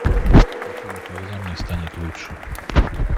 афина когда мне станет лучше